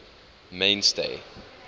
mainstay